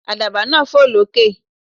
Àdàbà náà fò lókè.